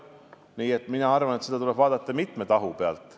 Nii et mina arvan, et seda tuleb vaadata mitme tahu pealt.